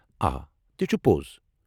آ، تہِ چھٗ پوٚز!